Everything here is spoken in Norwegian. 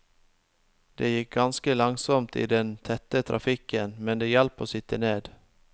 Det gikk ganske langsomt i den tette trafikken, men det hjalp å sitte ned.